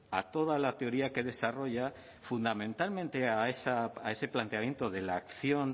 a toda la teoría que desarrolla fundamentalmente a ese planteamiento de la acción